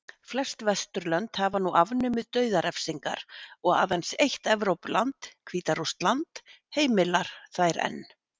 Flest Vesturlönd hafa nú afnumið dauðarefsingar og aðeins eitt Evrópuland, Hvíta-Rússland, heimilar þær enn.